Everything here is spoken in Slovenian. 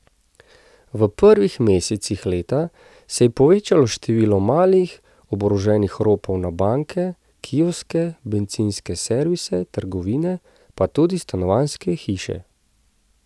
V prvih mesecih leta se je povečalo število malih oboroženih ropov na banke, kioske, bencinske servise, trgovine, pa tudi stanovanjske hiše.